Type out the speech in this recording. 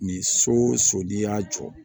Ni so o so n'i y'a jɔ